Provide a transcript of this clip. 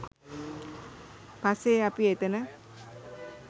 පස්සේ අපි එතැන